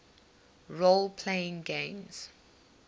role playing games